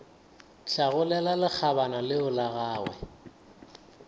hlagolela lekgabana leo la gagwe